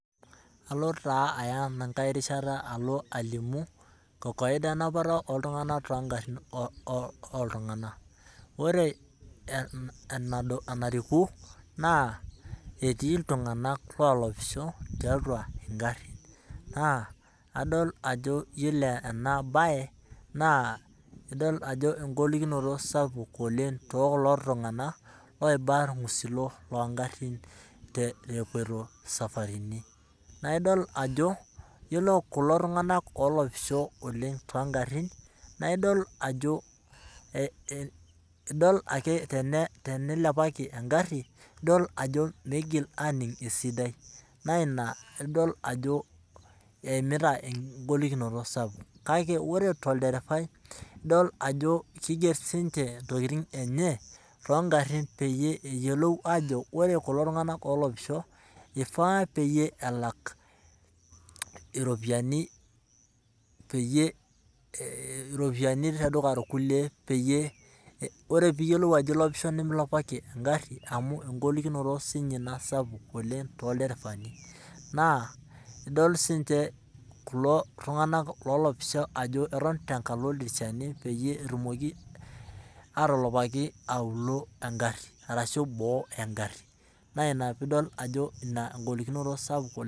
Alo taa aya ena nkae rishata alimu kokoida enapata oltung'anak toong'arin oltung'anak ,ore enariku naa etii ltung'anak olopisho tiatua ing'arin, naa adolita ajo yiolo ena bae naa eng'olikinoto oleng' tooltung'anak oiba irgusilo loo ng'arin epoitoi isafaritin ,naa idol ajo yiolo kulo tung'anak olopisho toong'arin naa idol ake ajo tenieileoaki eng'ari idol ajo meitoki aning' esidai naa ina pee idol ajo eimita en'golikinoto sapuk, kakeore tolderefai keiger siininche intokining' enye toong'arin peyie eyiolou ajo ore kulo tung'anak olopisho peyie elak iropiani tedukuya irkulie, ore pee iyiolo ajo ilopisho nemilopaki eng'ari amu engolikinoto siininye sapuk ina tolderefani ,naa idol siininche kulo tung'anak olopisho ajo keton tenkalo ildirishani peyie etumoki atilipaki auluo eng'ari orashu boo eng'ari naa ina peyie idol ajo ina eng'olikinoto sapuk oleng'.